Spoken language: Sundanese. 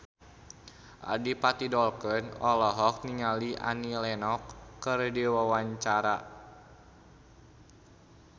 Adipati Dolken olohok ningali Annie Lenox keur diwawancara